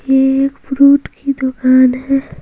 ये फ्रूट की दुकान है।